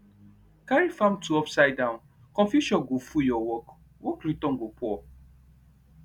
carry farm tool upside down confusion go full your work work return go poor